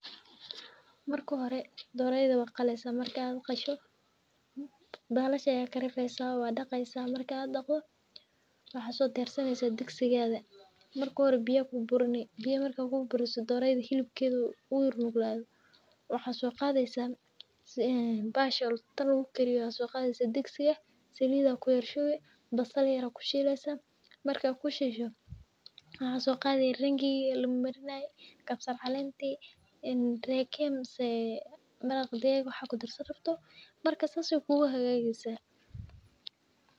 Marka hore doreyda waqaleysaah, marka qasho balasha ayaa karifeysaah wadaqeysaah , marka ad daqdo, waxaa sodiyarsaneysaah digsigada marka hore biyaa aa kuburini , biya marka kuburiso, doreyda hilibkeda uu yar nuglado waxaa soqadeysaah bahasha tan lagutiriyo aa soqadeysaah digsiga, salid aa kuyar shubi basal aa kushubi, marka kushubto waxaa soqadi ringiga lamarinay , kabsar calenti een reyka ama maraq digag waxaa kudarsan rabto . Marka sas ay kuguhagageysaah.